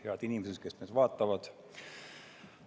Head inimesed, kes meid vaatavad!